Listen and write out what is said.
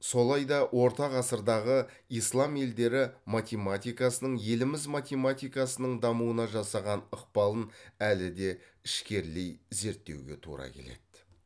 солай да орта ғасырдағы ислам елдері математикасының еліміз математикасының дамуына жасаған ықпалын әлі де ішкерлей зерттеуге тура келеді